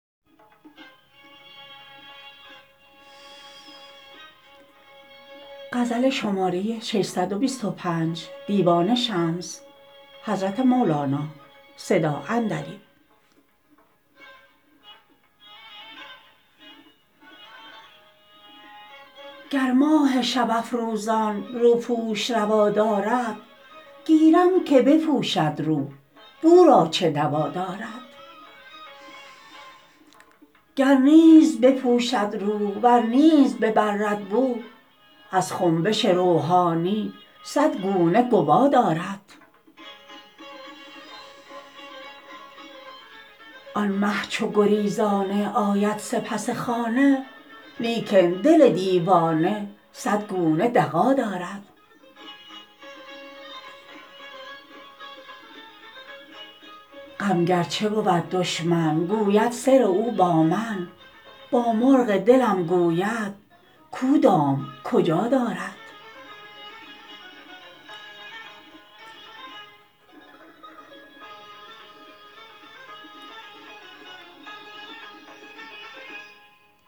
گر ماه شب افروزان روپوش روا دارد گیرم که بپوشد رو بو را چه دوا دارد گر نیز بپوشد رو ور نیز ببرد بو از خنبش روحانی صد گونه گوا دارد آن مه چو گریزانه آید سپس خانه لیکن دل دیوانه صد گونه دغا دارد غم گرچه بود دشمن گو بد سر او با من با مرغ دلم گوید کو دام کجا دارد